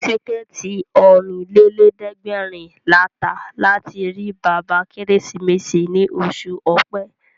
Tíkẹ̀ẹ̀tì Ọ̀rìnlélẹ̀ẹ́dẹ́gbèrin la tà láti rí bàbá Kérésìmesì ní oṣù Ọ̀pẹ